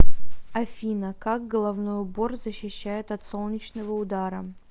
афина как головной убор защищает от солнечного удара